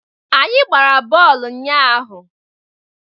Anyị gbara bọọlụ ụnyahụ.